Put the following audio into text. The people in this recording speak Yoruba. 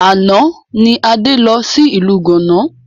Àná ni Adé lọ sí ìlú gánà